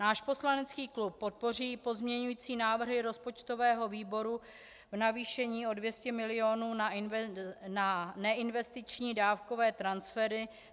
Náš poslanecký klub podpoří pozměňující návrhy rozpočtového výboru v navýšení o 200 mil. na neinvestiční dávkové transfery.